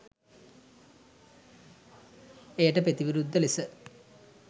එයට ප්‍රතිවිරුද්ධ ලෙස